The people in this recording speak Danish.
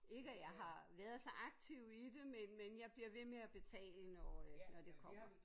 Ikke at jeg har været så aktiv i det men men jeg bliver ved med at betale når øh når det kommer